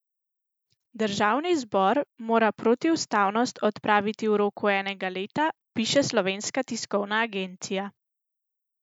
Državni zbor mora protiustavnost odpraviti v roku enega leta, piše Slovenska tiskovna agencija.